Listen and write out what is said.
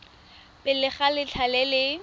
pele ga letlha le le